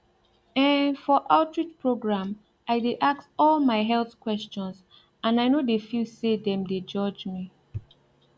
em for outreach program i dey ask all my health questions and i no dey feel say dem dey judge me